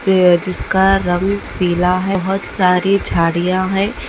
ये जिसका रंग पीला है बहुत सारी झाड़ियां है।